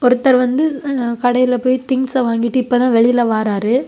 ஒருத்தர் வந்து ன்அ கடையில போயி திங்ஸ்ஸ வாங்கிட்டு இப்பதான் வெளியில வராரு.